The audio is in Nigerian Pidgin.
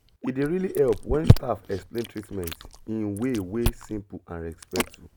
e dey really help when staff explain treatment in way wey simple and respectful